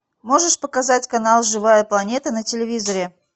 можешь показать канал живая планета на телевизоре